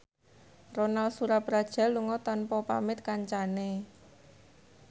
Ronal Surapradja lunga tanpa pamit kancane